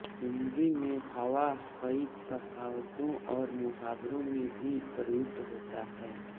हिन्दी में हौवा कई कहावतों और मुहावरों में भी प्रयुक्त होता है